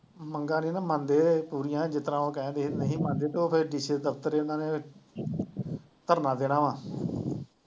ਮੰਗਾਂ ਨੀ ਨਾ ਮੰਨਦੇ ਪੂਰੀਆਂ, ਜਿਸ ਤਰ੍ਹਾਂ ਉਹ ਕਹਿਣਡੇ ਨਹੀਂ ਮੰਨਦੇ ਤੇ ਉਹ ਫਿਰ DC ਦੇ ਦਫ਼ਤਰ ਇਹਨਾਂ ਨੇ ਧਰਨਾ ਦੇਣਾ ਵਾਂ